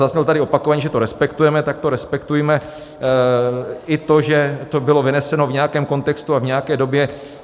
Zaznělo tady opakovaně, že to respektujeme, tak to respektujme, i to, že to bylo vyneseno v nějakém kontextu a v nějaké době.